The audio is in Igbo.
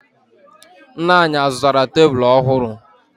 Nna anyị azụtara tebulu ọhụrụ?